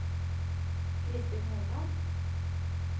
Kristin Hovland